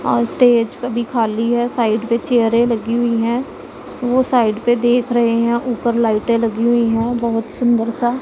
और स्टेज पे भी खाली है साइड पे चेयरे लगी हुईं हैं वो साइड पे देख रहे हैं ऊपर लाइटें लगी हुईं हैं बहोत सुंदरसा--